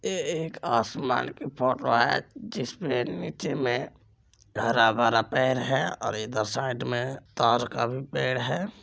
ये-ये एक आसमान की फोटो है जिसके नीचे मे हरा भरा पेड़ है और इधर साइड मे ताड़ का भी पेड़ है।